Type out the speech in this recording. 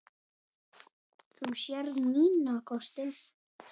Þú sérð mína kosti.